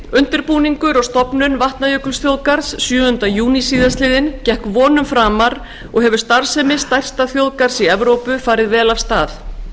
undirbúningur og stofnun vatnajökulsþjóðgarðs sjöunda júní síðastliðnum gekk vonum framar og hefur starfsemi stærsta þjóðgarðs í evrópu farið vel af stað